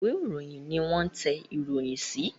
Ìwé-ìròyìn ní wón tẹ̀ ìròyìn sí